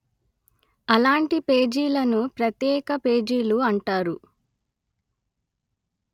అలాంటి పేజీలను ప్రత్యేక పేజీలు అంటారు